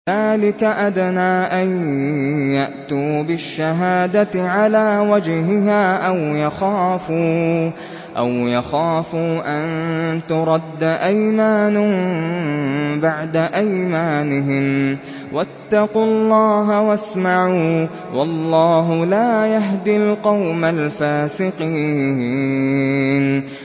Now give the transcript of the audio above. ذَٰلِكَ أَدْنَىٰ أَن يَأْتُوا بِالشَّهَادَةِ عَلَىٰ وَجْهِهَا أَوْ يَخَافُوا أَن تُرَدَّ أَيْمَانٌ بَعْدَ أَيْمَانِهِمْ ۗ وَاتَّقُوا اللَّهَ وَاسْمَعُوا ۗ وَاللَّهُ لَا يَهْدِي الْقَوْمَ الْفَاسِقِينَ